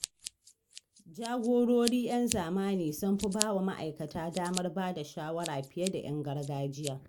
Jagorori 'yan zamani sun fi ba wa ma’aikata damar bada shawara fiye da 'yan gargajiya.